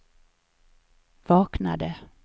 vaknade